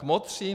Kmotři?